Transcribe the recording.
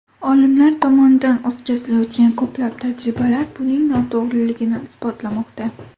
Olimlar tomonidan o‘tkazilayotgan ko‘plab tajribalar buning noto‘g‘riligini isbotlamoqda.